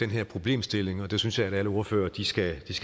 her problemstilling og det synes jeg at alle ordførerne skal